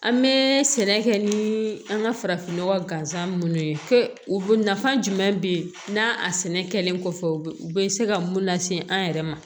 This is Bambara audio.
An bɛ sɛnɛ kɛ ni an ka farafin nɔgɔ gansan minnu ye u nafa jumɛn bɛ n'a a sɛnɛ kɛlen kɔfɛ u bɛ se ka mun lase an yɛrɛ ma